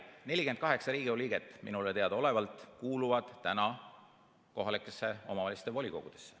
Aga 48 Riigikogu liiget minule teadaolevalt kuulub praegu kohalike omavalitsuste volikogusse.